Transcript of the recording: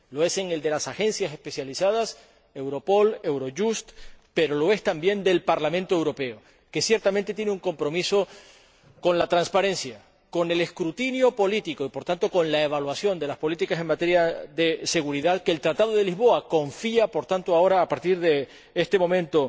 Lo es de las agencias especializadas —Europol, Eurojust—, pero lo es también del Parlamento Europeo, que ciertamente tiene un compromiso con la transparencia, con el escrutinio político y, por tanto, con la evaluación de las políticas en materia de seguridad que el Tratado de Lisboa confía ahora, a partir de este momento